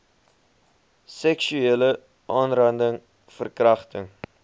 seksuele aanranding verkragting